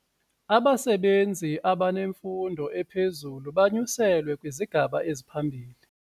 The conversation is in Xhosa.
Abasebenzi abanemfundo ephezulu banyuselwe kwisigaba esiphambili.